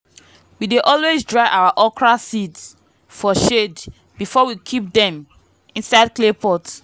we dey always dry our okra seeds for shade before we keep them inside clay pot.